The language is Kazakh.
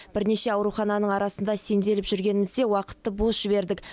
бірнеше аурухананың арасында сенделіп жүргенімізде уақытты бос жібердік